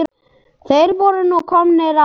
Þeir voru nú komnir að